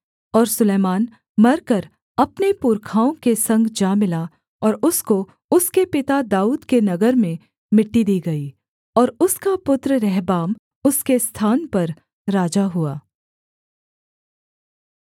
और सुलैमान मरकर अपने पुरखाओं के संग जा मिला और उसको उसके पिता दाऊद के नगर में मिट्टी दी गई और उसका पुत्र रहबाम उसके स्थान पर राजा हुआ